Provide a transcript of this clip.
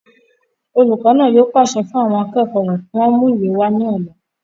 olùkọ́ náà yóò pàṣẹ fún àwọn akẹ́kọ̀ọ́ rẹ̀ kí wọ́n mú ìwé wá ní ọ̀la